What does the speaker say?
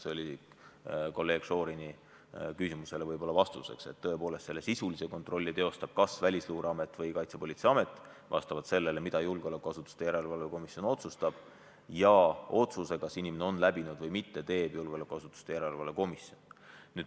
See oli ühtlasi vastus kolleeg Šorini küsimusele – tõepoolest, sisulise kontrolli teeb kas Välisluureamet või Kaitsepolitseiamet, vastavalt sellele, mida julgeolekuasutuste järelevalve komisjon otsustab, aga otsuse, kas inimene on läbinud või mitte, teeb julgeolekuasutuste järelevalve komisjon.